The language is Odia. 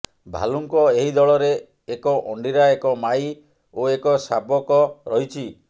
ଭାଲୁଙ୍କ ଏହି ଦଳରେ ଏକ ଅଣ୍ଡିରା ଏକ ମାଈ ଓ ଏକ ଶାବକ ରହିଛି